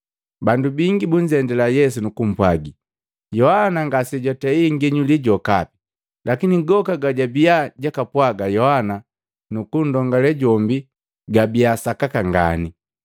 Bandu bingi bunzendila Yesu nukupwaga, “Yohana ngasejwatei nginyuli jokapi. Lakini goka gajwabia jwakapwaga Yohana kunndongale jombi gabia gasakaka nganii.”